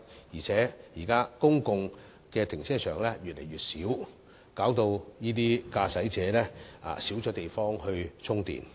現時公共停車場數目越來越少，駕駛者可充電的地方亦越來越少。